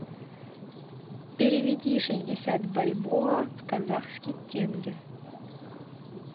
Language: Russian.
переведи шестьдесят бальбоа в казахский тенге